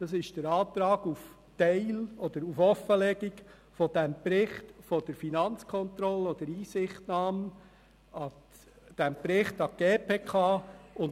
Es ist der Antrag auf teilweise oder komplette Offenlegung des Berichts der Finanzkontrolle oder auf Einsichtnahme in den Bericht an die GPK.